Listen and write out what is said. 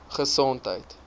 gesondheid